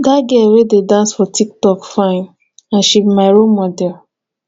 dat girl wey dey dance for tik tok fine and she be my role model